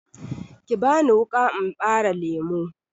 Ki bani wuƙa in ɓare lemu!